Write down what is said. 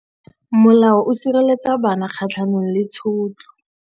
Molao o sireletsa bana kgatlhanong le tshotlo.